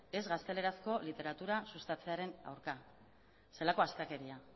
ez gaztelerazko literatura sustatzearen aurka zelako astakeria